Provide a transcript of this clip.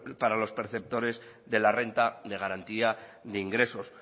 para los perceptores de la renta de garantía de ingresos